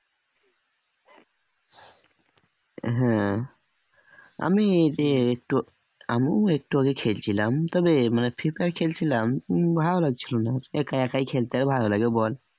হ্যাঁ আমি এই যে একটু আমুও একটু আগে খেলছিলাম তবে মানে free fire খেলছিলাম ভালো লাগছিল না একা একাই খেলতে আর ভালো লাগে বল